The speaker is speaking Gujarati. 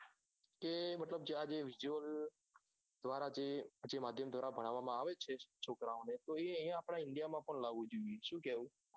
કે મતલબ કે આ જે visuals દ્વારા જે જે માધ્યમ દ્વારા જ ભણવામાં આવે છે છોકરાઓ ને તે આપડે ઇન્ડિયા માં પણ લાવું જોઈએ સુ કેઉં